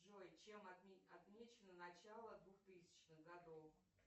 джой чем отмечено начало двухтысячных годов